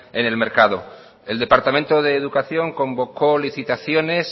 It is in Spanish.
en el mercado el departamento de educación convocó licitaciones